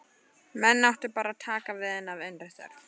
Menn áttu bara að taka við henni af innri þörf.